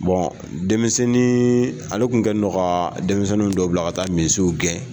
denmisɛnnin ale tun kɛlen don ka denmisɛnnin dɔw bila ka taa misiw gɛn